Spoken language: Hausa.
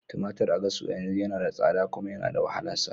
Tumatir a Gashua yanzu yana da tsada kuma yana da wahalan samu.